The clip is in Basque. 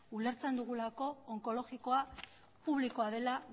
ulertzen dugulako onkologikoa publikoa dela